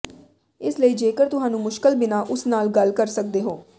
ਇਸ ਲਈ ਜੇਕਰ ਤੁਹਾਨੂੰ ਮੁਸ਼ਕਲ ਬਿਨਾ ਉਸ ਨਾਲ ਗੱਲ ਕਰ ਸਕਦੇ ਹੋ